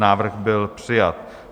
Návrh byl přijat.